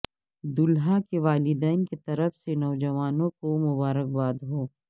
دولہا کے والدین کی طرف سے نوجوانوں کو مبارک ہو